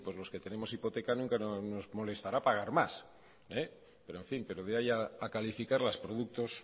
los que tenemos hipoteca nunca nos molestará pagar más pero en fin de ahí a calificarlas productos